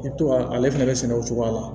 I bɛ to ka ale fɛnɛ bɛ sɛnɛ o cogoya la